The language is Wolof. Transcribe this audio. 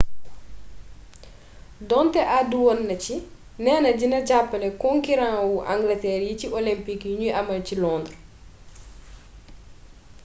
donte àddu woon na ci neena dina jàppale konkiran wu angalteer yi ci olympik yuñuy amal ci londres